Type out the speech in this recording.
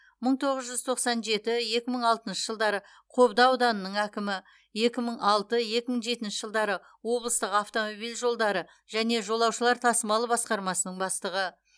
мың тоғыз жүз тоқсан жеті екі мың алтыншы жылдары қобда ауданының әкімі екі мың алты екі мың жетінші жылдары облыстық автомобиль жолдары және жолаушылар тасымалы басқармасының бастығы